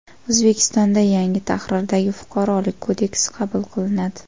O‘zbekistonda yangi tahrirdagi Fuqarolik kodeksi qabul qilinadi.